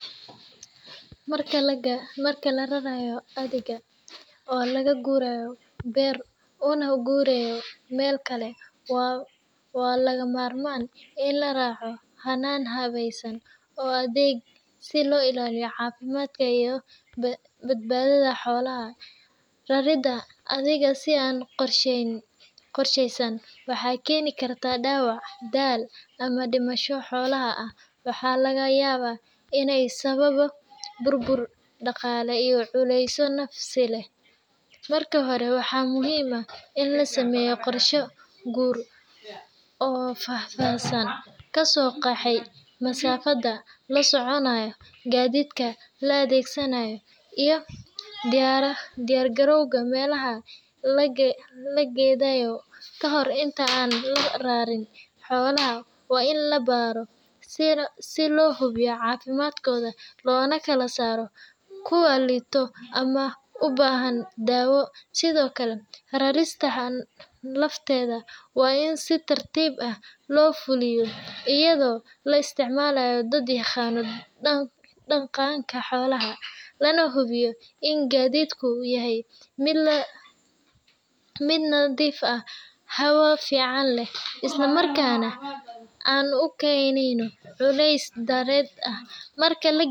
Marka la rarayo adhiga ( oo laga guurayo beer una guurayo meel kale, waa lagama maarmaan in la raaco hannaan habaysan oo degan si loo ilaaliyo caafimaadka iyo badbaadada xoolaha. Raridda adhiga si aan qorsheysnayn waxay keeni kartaa dhaawac, daal, ama dhimasho xoolaha ah, waxaana laga yaabaa inay sababo burbur dhaqaale iyo culeys nafsi ah. Marka hore, waxaa muhiim ah in la sameeyo qorshe guur oo faahfaahsan, kaasoo qeexaya masaafada la soconayo, gaadiidka la adeegsanayo, iyo diyaargarowga meelaha la degeyayo. Ka hor inta aan la rarinin, xoolaha waa in la baaro si loo hubiyo caafimaadkooda loona kala saaro kuwa liita ama u baahan daawo. Sidoo kale, rarista lafteeda waa in si tartiib ah loo fuliyaa iyadoo la isticmaalayo dad yaqaanna dhaqanka xoolaha, lana hubiyo in gaadiidku yahay mid nadiif ah, hawo fiican leh, islamarkaana aan u keenayn culays dheeraad ah. Marka la.